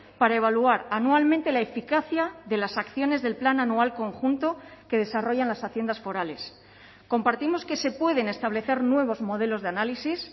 para evaluar anualmente la eficacia de las acciones del plan anual conjunto que desarrollan las haciendas forales compartimos que se pueden establecer nuevos modelos de análisis